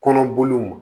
Kɔnɔboliw